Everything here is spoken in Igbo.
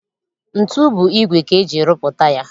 Ntu bụ igwe ka eji rụpụta ya